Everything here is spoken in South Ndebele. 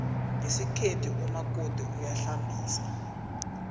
ngesikhethu umakoti uyahlambisa